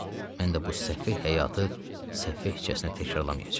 Mən də bu səhvi, həyatı səfeh kimsəsinə təkrarlamayacağam.